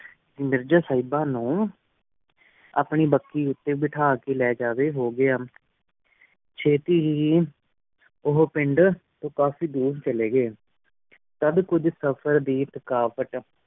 ਮੇਰ੍ਜ਼ਾ ਸੇਹ੍ਬਾ ਨੂ ਆਪਣੀ ਵੇਕੀ ਵੇਕ੍ਜ ਬੇਤਹਾ ਕੀ ਲੇਜਾਵ੍ਯ ਹੂ ਗੇਯਾ ਚਿਤਿ ਹੇ ਉਹੁ ਪੇੰਡ ਤੂੰ ਕਾਫੀ ਡੋਰ ਚਲੀ ਗੀ ਤਦ ਕੁਛ ਸਫ਼ਰ ਦੀ ਥਕਾਵਟ